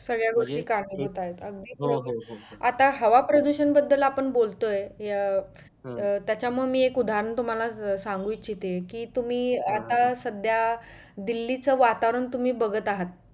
सगळ्या गोष्टी कारणीभूत आहेत. आता हवा प्रदुषण बदल आपण बोलतोय अं त्याच्या मी एक उदाहरण तुम्हाला सांगु इच्छेत कि तुम्ही आता सध्या दिल्लीचं वातावरण तुम्ही बघत आहात